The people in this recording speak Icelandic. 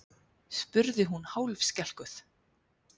spurði hún hálfskelkuð.